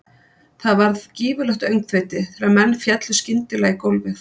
Það varð gífurlegt öngþveiti þegar menn féllu skyndilega í gólfið.